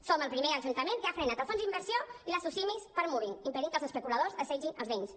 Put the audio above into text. som el primer ajuntament que ha frenat el fons d’inversió i les socimi per mobbing impedint que els especuladors assetgin els veïns